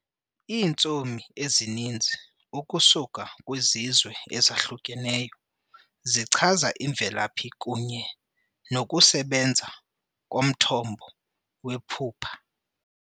Iintsomi ezininzi, ukusuka kwizizwe ezahlukeneyo zichaza imvelaphi kunye nokusebenza komthombo wephupha.